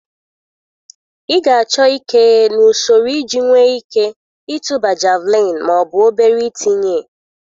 Ị ga-achọ ike na usoro iji nwee ike ịtụba Javelin ma ọ bụ obere itinye